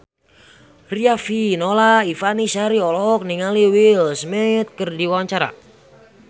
Riafinola Ifani Sari olohok ningali Will Smith keur diwawancara